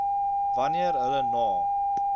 wanneer hulle na